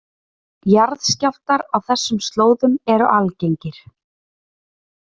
Jarðskjálftar á þessum slóðum eru algengir